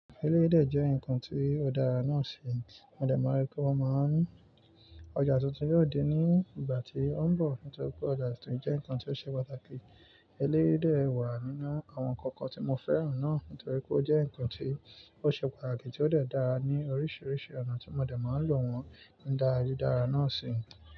Eléyii de jẹ́ ǹkan tí òdara náà ṣi Mọ dẹ̀ maa ri pé wọ́n máa ń ọjà tuntun yóò dé ní ìgbà tí ó ń bọ̀. Nítorí pé ọjà tuntun jẹ́ ǹkan tí ó ṣe pàtàkì. Elé'dè wà nínú àwọn ǹkan kan tí mo fẹ́ràn náà. Nítorí pé ó jẹ́ ǹkan tí ó ṣe pàtàkì tí ó de daá ní oríṣiríṣi ọ̀nà tí mo dẹ̀ máa ń lò wọ́n nída rí dára náà ṣi.